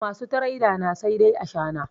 Masu tireda na sai dai ashana